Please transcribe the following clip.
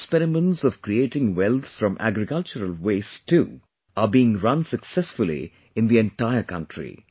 many experiments of creating wealth from agricultural waste too are being run successfully in the entire country